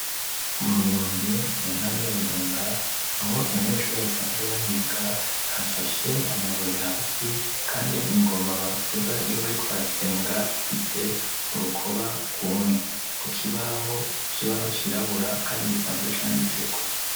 Mu Rumonge, mu ntara ya Burunga, aho abanyeshure basanzwe bahiga, hashashe amabuye hasi kandi ingoma bavuza iyo bariko barasenga, ifise urukoba rwumye. Ku kibaho cirabura kandi gisanzwe canditseko.